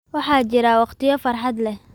Waxaa jira waqtiyo farxad leh